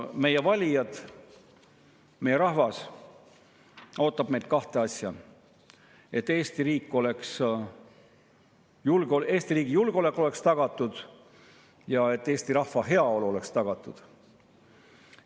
Meie valijad, meie rahvas ootab meilt kahte asja: et Eesti riigi julgeolek oleks tagatud ja et Eesti rahva heaolu oleks tagatud.